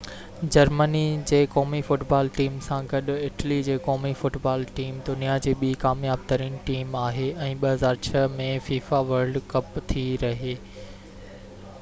Germany جي قومي football team سان گڏ اٽلي جي قومي فٽبال ٽيم دنيا جي ٻي ڪامياب ترين ٽيم آهي ۽ 2006 ۾ فيفا ورلڊ ڪپ ٿي رهي